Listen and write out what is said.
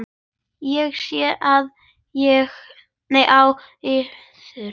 Ég sé það á yður.